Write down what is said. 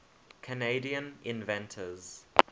canadian inventors